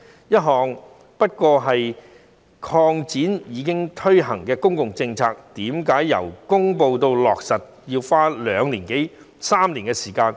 這只不過是擴展一項已推行的公共政策，為甚麼由公布至落實要花兩年多至三年時間？